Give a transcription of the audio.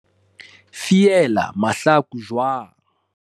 fiela mahlaku jwanng